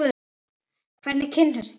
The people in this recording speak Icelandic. Hvernig kynntust þeir?